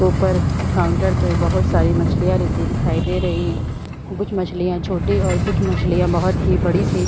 ऊपर काउंटर पे बहोत सारी मछलियाँ रखी दिखाई दे रही है कुछ मछलियाँ छोटी और कुछ मछलियाँ बहोत ही बड़ी सी--